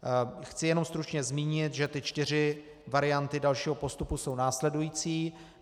Chci jen stručně zmínit, že ty čtyři varianty dalšího postupu jsou následující.